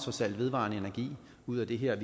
vedvarende energi ud af det her